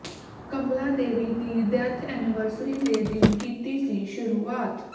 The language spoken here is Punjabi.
ਕਮਲਾਦੇਵੀ ਦੀ ਡੈੱਥ ਐਨਵਰਸਰੀ ਦੇ ਦਿਨ ਕੀਤੀ ਸੀ ਸ਼ੁਰੂਆਤ